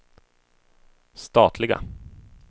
statliga